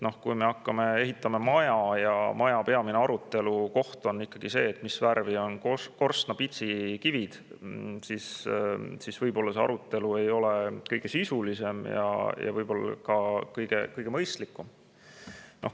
Kui me hakkame maja ehitama ja peamine aruteluteema on see, mis värvi on korstnapitsi kivid, siis võib-olla see arutelu ei ole kõige sisulisem ja võib-olla ka mitte kõige mõistlikum.